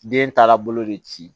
Den taa la bolo de ci